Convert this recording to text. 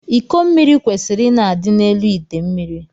Iko mmiri kwesiri ịna adị n’elu ite mmiri